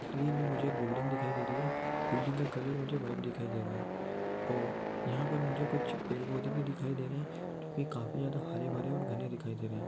ज़मीन में मुझे एक बिल्डिंग दिखाई दे रही है बिल्डिंग का कलर मुझे व्हाइट दिखाई दे रहा है और यहाँ पे मुझे कुछ पेड़ पौधे भी दिखाई दे रहें है जो की काफी ज्यादा हरे भरे और घने दिखाई दे रहे है।